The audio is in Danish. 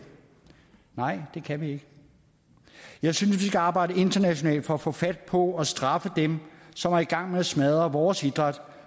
nej det kan vi ikke jeg synes vi skal arbejde internationalt for at få fat på og straffe dem som er i gang med at smadre vores idræt